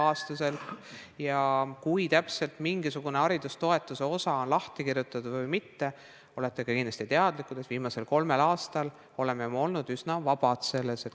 Sellest, kui täpselt mingisugune haridustoetuste osa on lahti kirjutatud, olete samuti kindlasti teadlik – oleme viimasel kolmel aastal olnud selles üsna vabad.